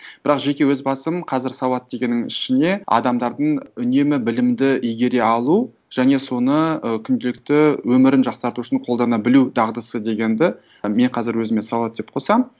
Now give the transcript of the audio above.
бірақ жеке өз басым қазір сауат дегеннің ішіне адамдардың үнемі білімді игере алу және соны ы күнделікті өмірін жақсарту үшін қолдана білу дағдысы дегенді мен қазір өзіме сауат деп қосамын